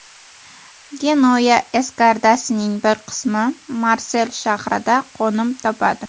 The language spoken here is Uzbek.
Genuya eskadrasining bir qismi Marsel shahrida qo‘nim topadi.